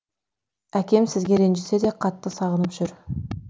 әкем сізге ренжісе де қатты сағынып жүр